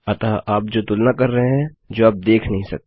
अतः आप जो तुलना कर रहे हैं जो आप देख नहीं सकते